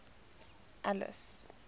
alice